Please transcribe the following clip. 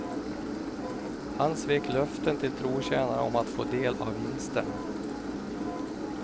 Han svek löften till trotjänare om att få del av vinsterna.